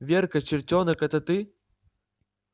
верка чертёнок это ты